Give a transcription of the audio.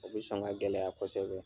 O bɛ sɔn ka gɛlɛya kosɛbɛ.